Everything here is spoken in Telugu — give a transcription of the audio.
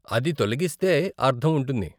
అది తొలగిస్తే అర్ధం ఉంటుంది.